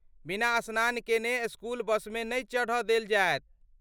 बिना स्नान केने स्कूल बसमे नहि चढ़ देल जायत।